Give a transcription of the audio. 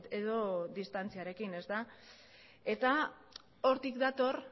edo distantziarekin hortik dator